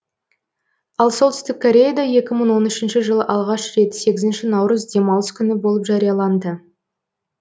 ал солтүстік кореяда екі мың он үшінші жылы алғаш рет сегізінші наурыз демалыс күні болып жарияланды